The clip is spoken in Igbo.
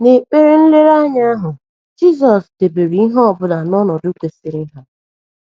N’ekpere nlereanya ahụ, Jizọs debere ihe ọ bụla n’ọnọdụ kwesịrị ha.